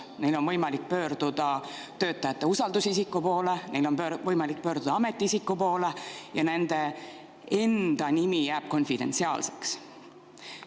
Neil on võimalik pöörduda töötajate usaldusisiku poole, neil on võimalik pöörduda ametiisiku poole ja nende enda nimi jääb konfidentsiaalseks.